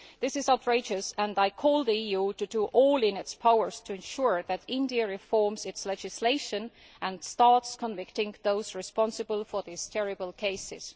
This is outrageous and I call on the EU to do everything in its powers to ensure that India reforms its legislation and starts convicting those responsible for these terrible cases.